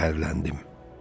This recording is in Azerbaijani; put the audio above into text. Qəhərləndim.